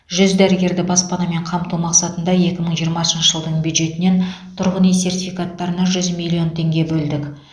жүз дәрігерді баспанамен қамту мақсатында екі мың жиырмасыншы жылдың бюджетінен тұрғын үй сертификаттарына жүз миллион теңге бөлдік